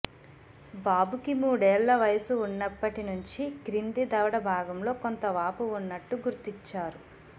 బాబుకి మూడేళ్ళ వయసు ఉన్నప్పటి నుంచీ క్రింది దవడ భాగంలో కొంత వాపు ఉన్నట్టు గుర్తిచారు